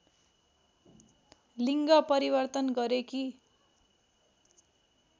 लिड्ग परिवर्तन गरेकी